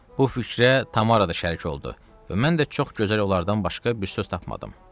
Bu fikrə Tamara da şərik oldu və mən də çox gözəl olardan başqa bir söz tapmadım.